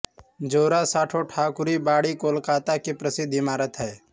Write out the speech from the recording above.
जोरासांको ठाकुर बाड़ी कोलकाता की प्रसिद्ध इमारत है